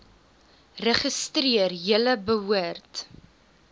registreer julle behoort